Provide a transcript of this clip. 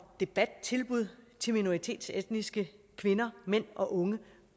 debattilbud til minoritetsetniske kvinder mænd og unge